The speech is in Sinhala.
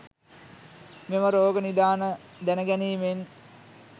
මෙම රෝග නිදාන දැන ගැනීමෙන්